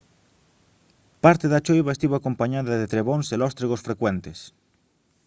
parte da choiva estivo acompañada de trebóns e lóstregos frecuentes